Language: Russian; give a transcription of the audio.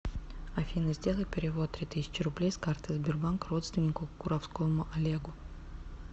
афина сделай перевод три тысячи рублей с карты сбербанк родственнику куровскому олегу